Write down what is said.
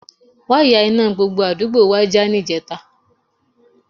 Wáyà iná gbogbo àdúgbò wa já níjẹta